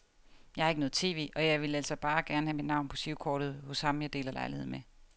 Jeg har ikke noget tv, og jeg ville altså bare gerne have mit navn på girokortet hos ham jeg deler lejlighed med.